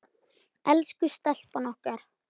Elsku stelpan okkar.